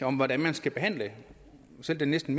om hvordan man skal behandle selv næsten